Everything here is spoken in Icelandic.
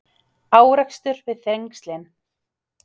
Árekstur við Þrengslin